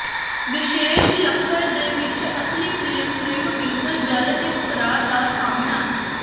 ਵਿਸ਼ੇਸ਼ ਲੱਕੜ ਦੇ ਵਿੱਚ ਅਸਲੀ ਫਰੇਮ ਟ੍ਰਿਮ ਬਿਲਕੁਲ ਜਲ ਦੇ ਉਤਰਾਅ ਦਾ ਸਾਮ੍ਹਣਾ